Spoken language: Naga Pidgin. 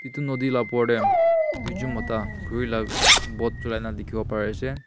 itu naudhi la opor dey duijun mota khuri la boat cholai nah dikhi wo pari ase.